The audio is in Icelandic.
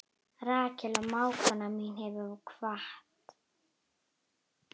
Rakel mágkona mín hefur kvatt.